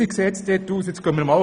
Wie sieht es nun dort aus?